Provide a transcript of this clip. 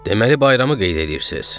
Deməli bayramı qeyd eləyirsiz?